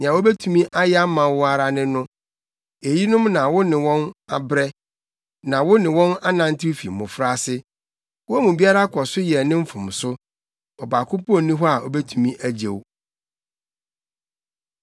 Nea wobetumi ayɛ ama wo ara ne no, eyinom na wo ne wɔn abrɛ na wo ne wɔn anantew fi mmofraase. Wɔn mu biara kɔ so yɛ ne mfomso; ɔbaako mpo nni hɔ a obetumi agye wo.